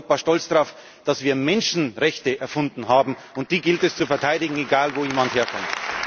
haben. Wir sind in Europa stolz darauf, dass wir Menschenrechte erfunden haben, und die gilt es zu verteidigen, egal wo jemand